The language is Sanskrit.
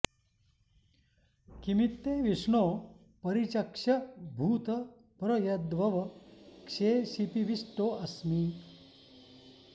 किमित्ते॑ विष्णो परि॒चक्ष्यं॑ भू॒त् प्र यद्व॑व॒ क्षे शि॑पिवि॒ष्टो अ॑स्मि